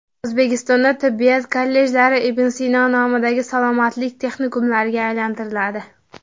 O‘zbekistonda tibbiyot kollejlari Ibn Sino nomidagi salomatlik texnikumlariga aylantiriladi.